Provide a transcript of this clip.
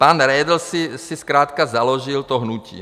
Pan Redl si zkrátka založil to hnutí.